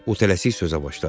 o tələsik sözə başladı.